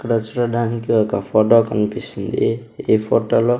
ఇక్కడ చూడడానికి ఒక ఫోటో కనిపిస్తుంది ఈ ఫోటో లో.